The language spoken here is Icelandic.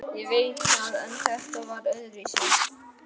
Ég veit það en þetta var öðruvísi.